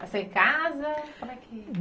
Nasceu em casa? como é que